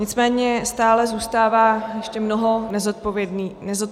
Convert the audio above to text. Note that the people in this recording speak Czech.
Nicméně stále zůstává ještě mnoho nezodpovězených otázek.